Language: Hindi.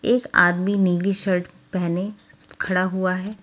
एक आदमी नीली शर्ट पहने खड़ा हुआ है।